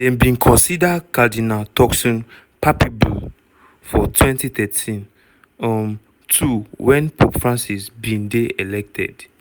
dem bin consider cardinal turkson papabile for 2013 um too wen pope francis bin dey elected.